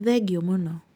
Thengiũ mũno